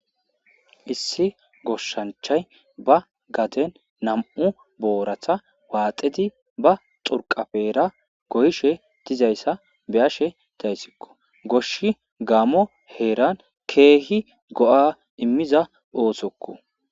Issi goshshanchay ba gaden nam7u booratha waaxedi ba xurqapeera goyishe dizayssa beyashe dayssikko goshi gaamo heeran keehi go7a immiza oosokko.